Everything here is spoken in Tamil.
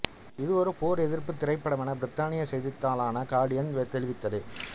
இது ஒரு போர் எதிர்ப்புத் திரைப்படமென பிரித்தானிய செய்தித்தாளான காடியன் தெரிவித்தது